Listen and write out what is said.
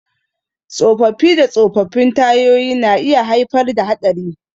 Tsofaffi da tsofaffin tayoyi na iya haifar da haɗari.